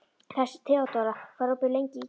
Þeódóra, hvað er opið lengi í IKEA?